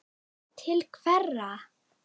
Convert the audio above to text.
Til hverra?